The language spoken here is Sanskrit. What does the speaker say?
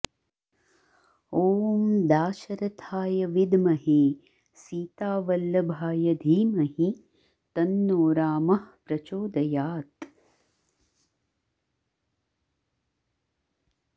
ॐ दाशरथाय विद्महे सीतावल्लभाय धीमहि तन्नो रामः प्रचोदयात्